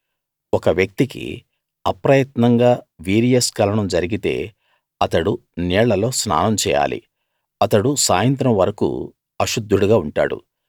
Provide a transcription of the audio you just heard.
ఒక వ్యక్తికి అప్రయత్నంగా వీర్యస్కలనం జరిగితే అతడు నీళ్ళలో స్నానం చేయాలి అతడు సాయంత్రం వరకూ అశుద్ధుడుగా ఉంటాడు